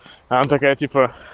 она такая типа